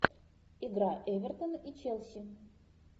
игра эвертона и челси